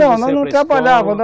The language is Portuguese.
Não, nós não trabalhávamos.